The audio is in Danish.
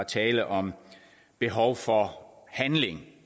tale om behov for handling